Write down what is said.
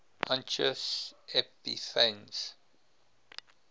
antiochus epiphanes